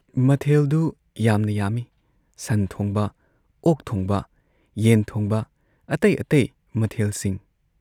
ꯃꯊꯦꯜꯗꯨ ꯌꯥꯝꯅ ꯌꯥꯝꯏ ꯁꯟ ꯊꯣꯡꯕ, ꯑꯣꯛ ꯊꯣꯡꯕ, ꯌꯦꯟ ꯊꯣꯡꯕ, ꯑꯇꯩ ꯑꯇꯩ ꯃꯊꯦꯜꯁꯤꯡ ꯫